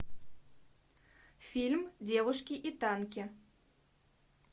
фильм девушки и танки